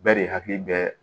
Bɛɛ de hakili bɛ